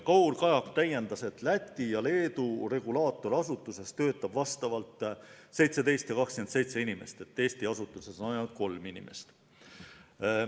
Kaur Kajak täiendas, et Läti ja Leedu regulaatorasutuses töötab vastavalt 17 ja 27 inimest, Eesti asutuses on ainult kolm inimest.